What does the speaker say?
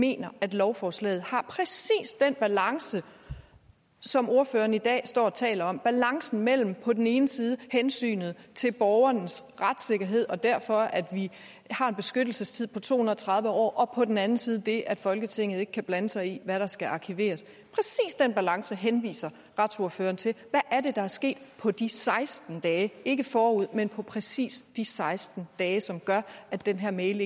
mener at lovforslaget har præcis den balance som ordføreren i dag står og taler om nemlig balancen mellem på den ene side hensynet til borgerens retssikkerhed og derfor har en beskyttelsestid på to hundrede og tredive år og på den anden side det at folketinget ikke kan blande sig i hvad der skal arkiveres præcis den balance henviser retsordføreren til hvad er det der er sket på de seksten dage ikke forud for men på præcis de seksten dage som gør at den her mail